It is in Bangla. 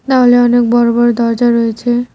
দেওয়ালে অনেক বড় বড় দরজা রয়েছে।